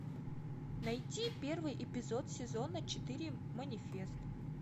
найти первый эпизод сезона четыре манифест